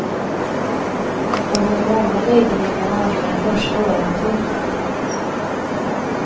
Och för många nyblivna mammor är första året tufft.